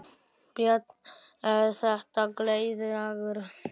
Björn: Er þetta gleðidagur?